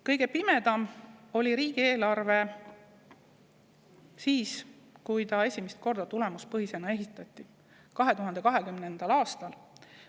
Kõige pimedam oli riigieelarve siis, kui ta esimest korda tulemuspõhisena esitati, nimelt 2020. aastal.